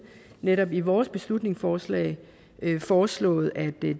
netop i vores beslutningsforslag foreslået at det